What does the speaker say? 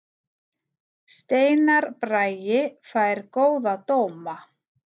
Steinar Bragi fær góða dóma